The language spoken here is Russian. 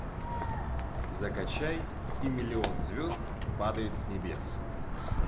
закачай и миллион звезд падает с небес